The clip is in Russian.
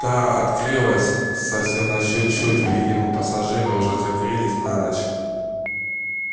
та открылась совсем на чуть-чуть видимо пассажиры уже закрылись на ночь